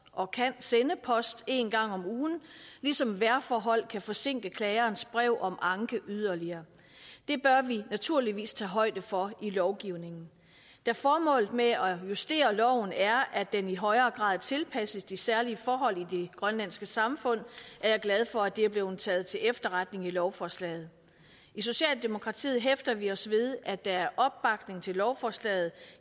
og kan sende post en gang om ugen ligesom vejrforhold kan forsinke klagerens brev om anke yderligere det bør vi naturligvis tage højde for i lovgivningen da formålet med at justere loven er at den i højere grad tilpasses de særlige forhold i det grønlandske samfund er jeg glad for at det er blevet taget til efterretning i lovforslaget i socialdemokratiet hæfter vi os ved at der er opbakning til lovforslaget